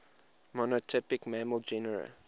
monotypic mammal genera